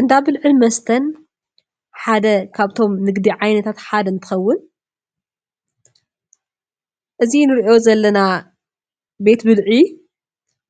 እንዳ ብልዕን መስተን ሓደ ካብቶም ንግዲ ዓይነታት ሓደ እንትኸውን እዚ ንሪኦ ዘለና ቤት ብልዒ